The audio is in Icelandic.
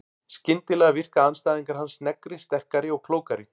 Skyndilega virka andstæðingar hans sneggri, sterkari og klókari.